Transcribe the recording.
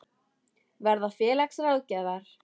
Verða félagsráðgjafar?